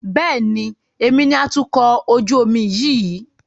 Bẹ́ẹ̀ni, èmi ni atukọ̀ ojú omi yìí